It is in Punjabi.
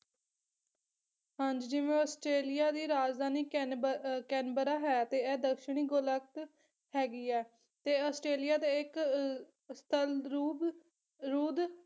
ਹਾਂਜੀ ਜਿਵੇਂ ਆਸਟ੍ਰੇਲੀਆ ਦੀ ਰਾਜਧਾਨੀ ਕੈਨਬਰ ਅਹ ਕੈਨਬਰਾ ਹੈ ਤੇ ਐ ਦੱਖਣੀ ਗੋਲਕਤ ਹੈਗੀ ਐ ਤੇ ਆਸਟ੍ਰੇਲੀਆ ਤੇ ਇੱਕ ਅਹ ਸਤੰਦਰੁਬ ਰੁਦ